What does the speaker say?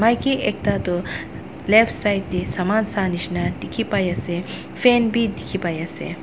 maki ekta toh left side tae saman sashina dikhipaiase fan bi dikhipaiase.